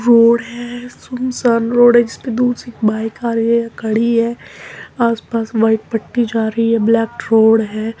Road है। सुनसान road है जिसपे दूर से एक बाइक आ रही है खड़ी है आस पास व्हाइट पट्टी जा रही है। ब्लेैक रोड है।